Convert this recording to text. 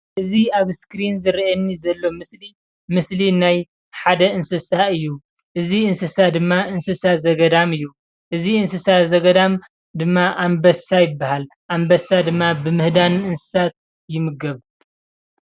እዚ ኣብ እስክሪን ዝረኣየኒ ዘሎ ምስሊ ናይ ሓደ እንስሳ ዘገዳም ምስሊ ኮይኑ እዚ ድማ ኣንበሳ ይባሃል። ኣንበሳ ድማ ብምህዳን እንስሳታት ይምገብ።